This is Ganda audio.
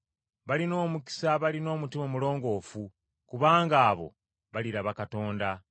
Balina omukisa abalina omutima omulongoofu, kubanga abo baliraba Katonda.